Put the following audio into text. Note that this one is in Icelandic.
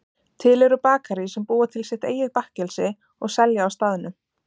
til eru bakarí sem búa til sitt eigið bakkelsi og selja á staðnum